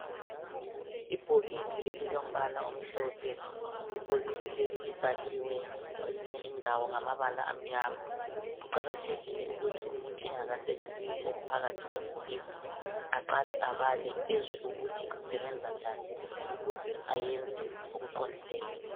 ibhokisi elilombala omhlophe ibhokisi leli libhaliwe kwezinye indawo ngamabala amnyama kuqakathekile ukuthi umuntu engakasebenzisi okuphakathi kwebhokisi aqale abale ezwe ukuthi kusebenza njani ukze ayenze okuqondileyo